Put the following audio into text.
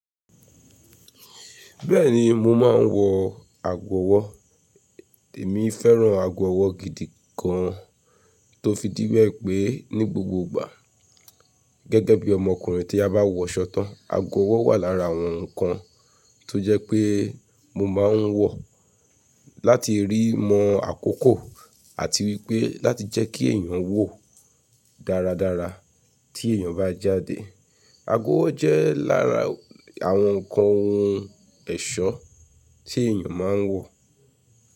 Bẹ́ẹ̀ni mo máa ń wọ àgó ọwọ́. Èmi fẹ́ràn àgó ọwọ́ gidi gan an tó fi díwẹ́ pé ní gbogbo ìgbà gẹ́gẹ́ bí ọmọkùnrin tí a bá wọ ṣọ́ tan àgó ọwọ́ wà lára àwọn nǹkan tó jẹ́ pé mo máa ń wọ̀ láti rí mọ́ àkókò àti wípé láti jẹ́ kí èèyàn wò dáradára tí èèyàn bá jáde. Àgó ọwọ́ jẹ́ lára àwọn nǹkan ohun ẹ̀ṣọ́ tí èèyàn máa ń wọ̀